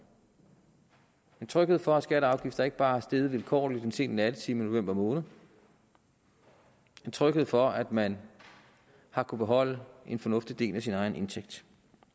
en tryghed for at skatter og afgifter ikke bare er steget vilkårligt en sen nattetime i november måned en tryghed for at man har kunnet beholde en fornuftig del af sin egen indtægt